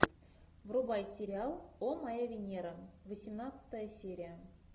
врубай сериал о моя венера восемнадцатая серия